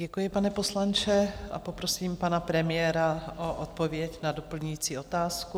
Děkuji, pane poslanče, a poprosím pana premiéra o odpověď na doplňující otázku.